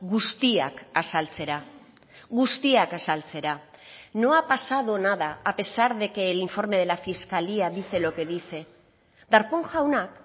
guztiak azaltzera guztiak azaltzera no ha pasado nada a pesar de que el informe de la fiscalía dice lo que dice darpón jauna